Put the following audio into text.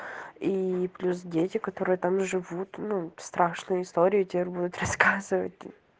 ии плюс дети которые там живут ну страшную историю теперь будут рассказывать